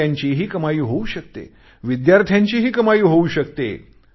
व्यापाऱ्यांचीही कमाई होऊ शकते विद्यार्थ्यांचीही कमाई होऊ शकते